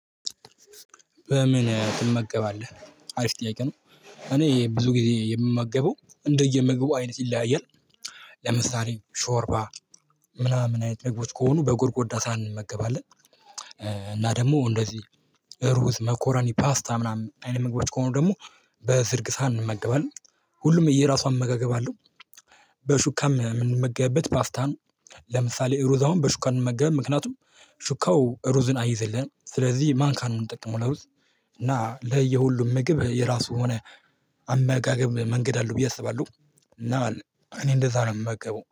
በምን? ትመገባለህ አሪፍ ጥያቄ ነው እኔ ብዙ ጊዜ የምመገበው እንደየምግቡ አይነት ይለያያል። ለምሳሌ ሾርባ ምናምን አይነት ነገሮች ከሆኑ በጎድጎዳ ሳን እንመገባለን። እና ደግሞ እንደዚህ ሩዝ መኮረኒ ፓስታ ምናምን አይነት መግባት ከሆኑ ደግሞ በዝርግ ሳን እመገባለን ሁሉም የየራሱ አመጋገብ አለው። በሹካም የምንመገብበት ፓስታን ለምሳሌ ሩዝ አውን በሹካን አንመገብም ምክንያቱም ሹካው ሩዝን አይዘልን ስለዚህ ማንካን ነው የምንጠቅመው። ለውስጥ እና ለየ ሁሉም ምግብ የራሱ ሆነ አመጋገብ መንገድ አለው ብዬ አስባለሁ። እና እኔ እንደዛ ነው የምመገበው